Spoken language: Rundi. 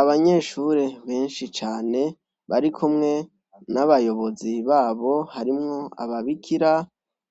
Abanyeshure benshi cane bari kumwe n'abayobozi babo harimwo ababikira